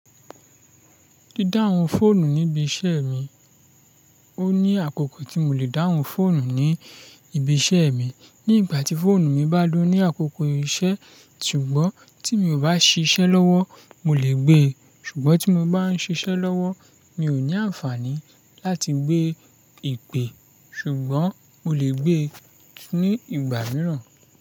Dídáhun fóònù níbi iṣẹ́ mi, o ní àkókò tí mo lè dáhun fóònù ní ibi iṣẹ́ mi. Ní ìgbà tí fóònù mi bá lọ ní àkókò iṣẹ́, ṣùgbọ́n tí mo ò bá ṣiṣẹ́ lọ́wọ́, mo lè gbe. Ṣùgbọ́n tí mo bá ń ṣiṣẹ́ lọ́wọ́, mi ò ní àǹfààní láti gbé ìpè. Ṣùgbọ́n mo lè gbe ní ìgbà mìíràn.